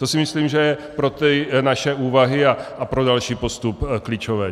To si myslím, že je pro ty naše úvahy a pro další postup klíčové.